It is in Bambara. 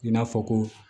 I n'a fɔ ko